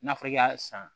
N'a fɔra i y'a san